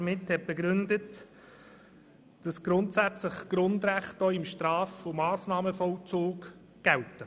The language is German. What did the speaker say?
Sie begründete ihre Anträge damit, dass Grundrechte auch im Straf- und Massnahmenvollzug gelten.